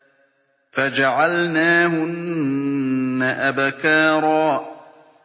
فَجَعَلْنَاهُنَّ أَبْكَارًا